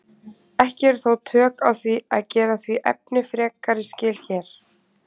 Ekki eru þó tök á því að gera því efni frekari skil hér.